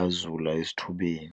azula esithubeni.